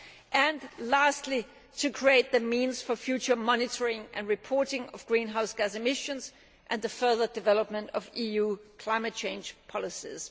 and lastly, to create the means for future monitoring and reporting of greenhouse gas emissions and the further development of EU climate change policies.